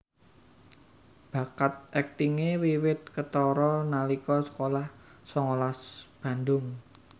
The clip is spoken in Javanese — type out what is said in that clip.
Bakat aktingé wiwit ketara nalika sekolah songolas Bandung